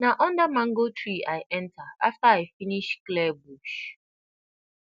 na under mango tree i enter after i finish clear bush